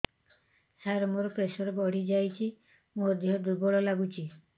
ସାର ମୋର ପ୍ରେସର ବଢ଼ିଯାଇଛି ମୋ ଦିହ ଦୁର୍ବଳ ଲାଗୁଚି